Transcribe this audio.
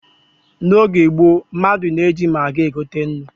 N'oge gboo, mmadụ na-eji magị egote nnu.